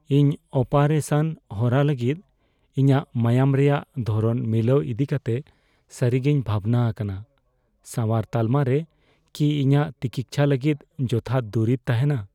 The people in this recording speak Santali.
ᱤᱧ ᱚᱯᱟᱨᱮᱥᱟᱱ ᱦᱚᱨᱟ ᱞᱟᱹᱜᱤᱫ ᱤᱧᱟᱹᱜ ᱢᱟᱭᱟᱢ ᱨᱮᱭᱟᱜ ᱫᱷᱚᱨᱚᱱ ᱢᱤᱞᱟᱹᱣ ᱤᱫᱤᱠᱟᱛᱮ ᱥᱟᱹᱨᱤᱜᱮᱧ ᱵᱷᱟᱵᱽᱱᱟ ᱟᱠᱟᱱᱟ ᱾ ᱥᱟᱶᱟᱨ ᱛᱟᱞᱢᱟ ᱨᱮ ᱠᱤ ᱤᱧᱟᱹᱜ ᱛᱤᱠᱤᱪᱪᱷᱟᱹ ᱞᱟᱹᱜᱤᱫ ᱡᱚᱛᱷᱟᱛ ᱫᱩᱨᱤᱵ ᱛᱟᱦᱮᱱᱟ ?